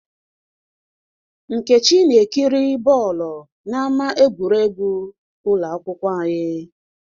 Nkechi na-ekiri bọọlụ n'ámá egwuregwu ụlọ akwụkwọ anyị.